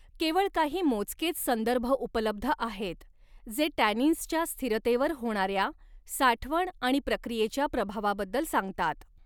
केवळ काही मोजकेच संदर्भ उपलब्ध आहेत जे टॅनिन्सच्या स्थिरतेवर होणाऱ्या साठवण आणि प्रक्रियेच्या प्रभावाबद्दल सांगतात.